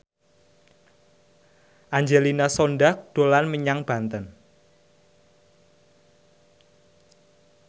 Angelina Sondakh dolan menyang Banten